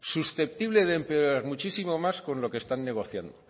susceptible de empeorar muchísimo más con lo que están negociando